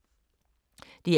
DR K